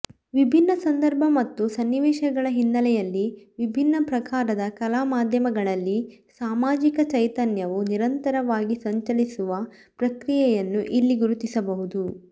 ವಿಭಿನ್ನ ಸಂದರ್ಭ ಮತ್ತು ಸನ್ನಿವೇಶಗಳ ಹಿನ್ನೆಲೆಯಲ್ಲಿ ವಿಭಿನ್ನ ಪ್ರಕಾರದ ಕಲಾಮಾಧ್ಯಮಗಳಲ್ಲಿ ಸಾಮಾಜಿಕ ಚೈತನ್ಯವು ನಿರಂತರವಾಗಿ ಸಂಚಲಿಸುವ ಪ್ರಕ್ರಿಯೆಯನ್ನು ಇಲ್ಲಿ ಗುರುತಿಸಬಹುದು